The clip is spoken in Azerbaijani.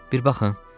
Bir baxın.